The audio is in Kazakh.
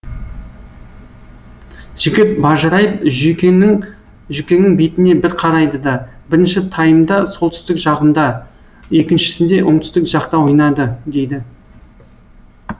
жігіт бажырайып жүкеңнің жүкеңнің бетіне бір қарайды да бірінші таймда солтүстік жағында екіншісінде оңтүстік жақта ойнады дейді